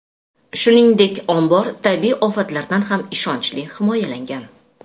Shuningdek, ombor tabiiy ofatlardan ham ishonchli himoyalangan.